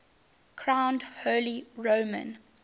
crowned holy roman